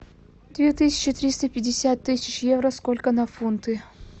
две тысячи триста пятьдесят тысяч евро сколько на фунты